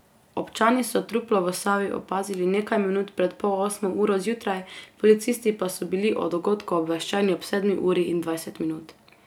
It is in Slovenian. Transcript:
Občani so truplo v Savi opazili nekaj minut pred pol osmo uro zjutraj, policisti pa so bili o dogodku obveščeni ob sedmi uri in dvajset minut.